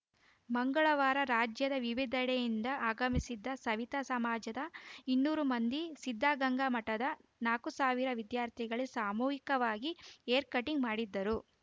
ಮಂಗಳವಾರ ರಾಜ್ಯದ ವಿವಿಧೆಡೆಯಿಂದ ಆಗಮಿಸಿದ್ದ ಸವಿತಾ ಸಮಾಜದ ಇನ್ನೂರು ಮಂದಿ ಸಿದ್ಧಗಂಗಾ ಮಠದ ನಾಕು ಸಾವಿರ ವಿದ್ಯಾರ್ಥಿಗಳಿಗೆ ಸಾಮೂಹಿಕವಾಗಿ ಹೇರ್‌ ಕಟಿಂಗ್‌ ಮಾಡಿದರು